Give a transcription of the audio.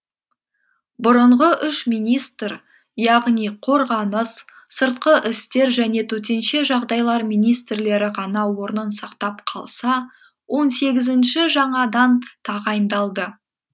бұрынғы үш министр яғни қорғаныс сыртқы істер және төтенше жағдайлар министрлері ғана орнын сақтап қалса он сегізінші жаңадан тағайындалды